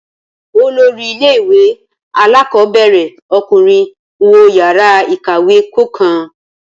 Olórí ilé ìwé alákọ̀ọ́bẹ̀rẹ̀ ọkùnrin ń wo yàrá ìkàwé kọ̀ọ̀kan